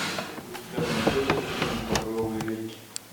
у тебя найдется фильм багровые реки